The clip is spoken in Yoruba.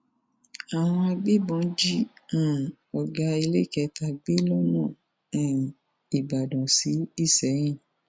àwọn agbébọn jí um ọgá iléekétà gbé lọnà um ìbàdàn sí ìsẹyìn